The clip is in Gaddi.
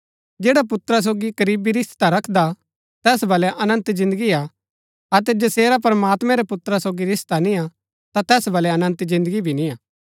जैड़ा पुत्रा सोगी करीबी रिश्ता रखदा तैस बल्लै अनन्त जिन्दगी हा अतै जसेरा प्रमात्मैं रै पुत्रा सोगी रिश्ता निय्आ ता तैस बल्लै अनन्त जिन्दगी भी निआं